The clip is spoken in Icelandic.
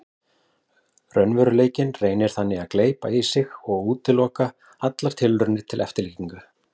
Raunveruleikinn reynir þannig að gleypa í sig og útiloka allar tilraunir til eftirlíkinga.